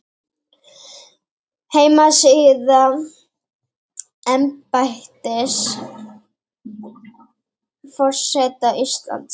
heimasíða embættis forseta íslands